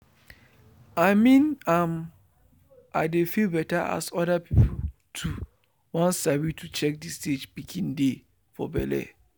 i mean m i dey feel better as other people too won sabi to check the stage pikin dey for belle.